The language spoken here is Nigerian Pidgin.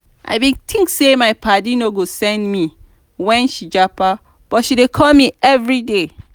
i bin tink sey my paddy no go send me wen she japa but she dey call me everyday.